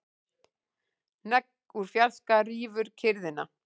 Hnegg úr fjarska rýfur kyrrðina.